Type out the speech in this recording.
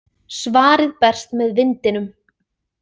Svarið berst með vindinum.